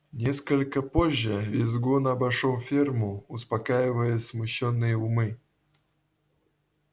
несколько позже визгун обошёл ферму успокаивая смущённые умы